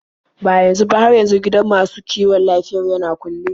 Ba yanzu ba, har yanzu gidan masu kiwon lafiyar yana kulle.